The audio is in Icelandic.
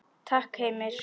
Takk Heimir.